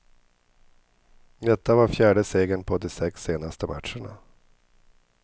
Detta var fjärde segern på de sex senaste matcherna.